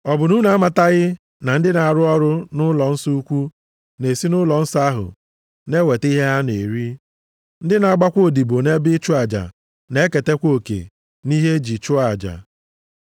Ọ bụ na unu amataghị na ndị na-arụ ọrụ nʼụlọnsọ ukwu na-esi nʼụlọnsọ ahụ na-eweta ihe ha na-eri? Ndị na-agbakwa odibo nʼebe ịchụ aja na-eketakwa oke nʼihe eji chụọ aja?